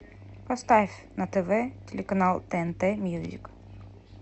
поставь на тв телеканал тнт мьюзик